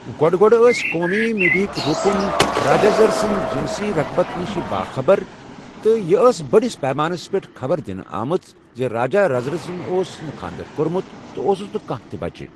گۄڈٕ گۄڈٕ ٲسۍ قومی میڈیاہکۍ رُکُن راجٲرز سٕنٛدِ جِنسی رغبت نِشہ باخَبر، تہٕ یہِ ٲس بٔڈس پیمانس پیٛٹھ خبر دِنہٕ آمٕژ زِ راجٲرزسن اوس نہٕ کھاندر کوٚرمت تہٕ اوسُس نہٕ کانٛہہ تہٕ بچہٕ۔